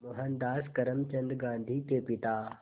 मोहनदास करमचंद गांधी के पिता